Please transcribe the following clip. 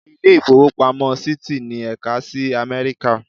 Ilé ìfowópamọ́ Citi ní ẹ̀ka sí Amẹ́ríkà.